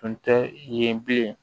Tun tɛ yen bilen